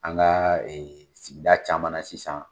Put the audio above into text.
An ka sigida caman sisan.